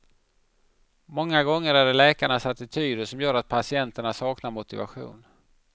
Många gånger är det läkarnas attityder som gör att patienterna saknar motivation.